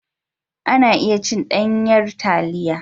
Ana iya cin ɗanyar taliya.